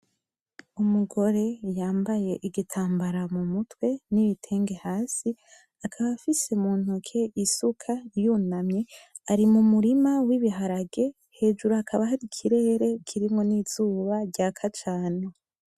Umugore yambaye igitambara mu mutwe n'ibitenge hasi. Akaba afise muntoke isuka yunamye. Ari mu murima w'ibiharage. Hejuru hakaba hari ikirere kirimwo n'izuba ryaka cane.